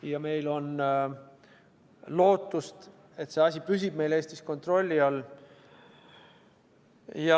Ja meil on lootust, et see asi püsib meil Eestis kontrolli all.